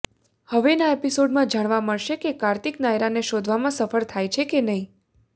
હવેના એપિસોડમાં જાણવા મળશે કે કાર્તિક નાયરાને શોઘવામાં સફળ થાય છે કે નહીં